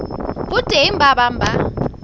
ho teng ba bang ba